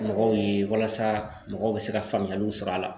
Mɔgɔw ye walasa mɔgɔw bɛ se ka faamuyaliw sɔrɔ a la